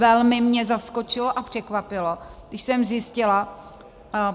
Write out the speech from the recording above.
Velmi mě zaskočilo a překvapilo, když jsem zjistila...